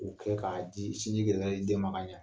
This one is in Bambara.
U kɛ ka di sinji gɛrɛ gɛrɛ di den ma ka ɲɛ.